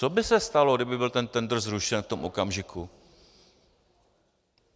Co by se stalo, kdyby byl ten tendr zrušen v tom okamžiku?